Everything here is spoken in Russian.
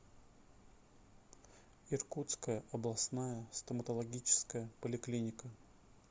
иркутская областная стоматологическая поликлиника